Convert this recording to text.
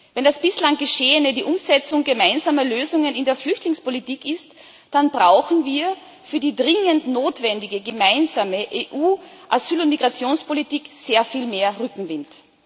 Wenn das bislang Geschehene die Umsetzung gemeinsamer Lösungen in der Flüchtlingspolitik ist, dann brauchen wir für die dringend notwendige gemeinsame EU-Asyl und Migrationspolitik sehr viel mehr Rückenwind.